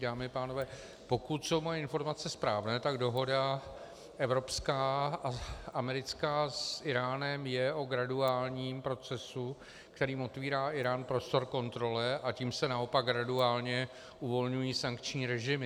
Dámy a pánové, pokud jsou moje informace správné, tak dohoda evropská a americká s Íránem je o graduálním procesu, kterým otvírá Írán prostor kontrole, a tím se naopak graduálně uvolňují sankční režimy.